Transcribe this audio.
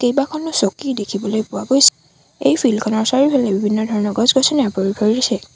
কেইবাখনো চকী দেখিবলৈ পোৱা গৈছে এই ফিল্ড খনৰ চাৰিওফালে বিভিন্ন ধৰণৰ গছ-গছনিয়ে আৱৰি ধৰিছে।